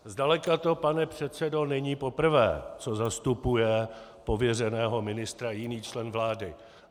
Zdaleka to, pane předsedo, není poprvé, co zastupuje pověřeného ministra jiný člen vlády.